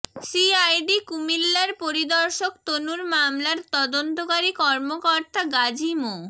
CID কুমিল্লার পরিদর্শক তনুর মামলার তদন্তকারী কর্মকর্তা গাজী মো